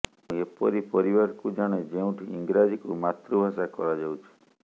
ମୁଁ ଏପରି ପରିବାରକୁ ଜାଣେ ଯେଉଁଠି ଇଂରାଜୀକୁ ମାତୃଭାଷା କରାଯାଉଛି